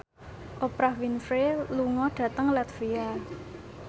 Oprah Winfrey lunga dhateng latvia